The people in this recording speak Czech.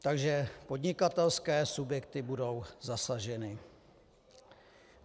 - Takže podnikatelské subjekty budou zasaženy.